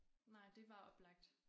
Nej det var oplagt